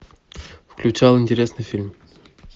включал интересный фильм